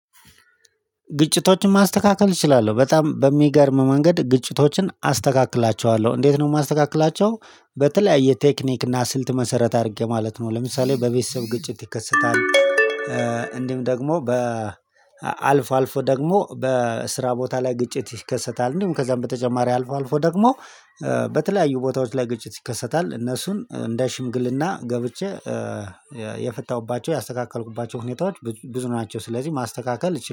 ግጭቶችን ማስተካከል እችላለሁ በጣም በሚገርም መንገድ ግጭቶችን አስተካክላቸዋለሁ እንዴት ነው የማስተካክላቸው? በተለያየ ቴክኒክ እና ስልት መሰረት አድርጌ ማለት ነው። ለምሳሌ በቤተሰብ ግጭት ይከሰታል። አ እንዲሁም ደግሞ በ አልፎ አልፎ ደግሞ በስራ ቦታ ላይ ግጭት ይከሰታል። እንዲሁም ከዛም በተጨማሪ አልፎ አልፎ ደግሞ አ በተለያዩ ቦታዎች ላይ ግጭት ይከሰታል። እነሱን እንደ ሽምግልና ገብቼ የፈታሁባቸው ያስተካከልኩባቸው ሁኔታዎች ብዙ ናቸው። ስለዚህ ማስተካከል